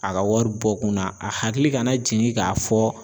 A ka wari bɔ kun na a hakili kana jigin k'a fɔ